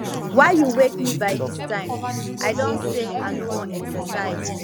why you wake me by dis time i don say i no wan exercise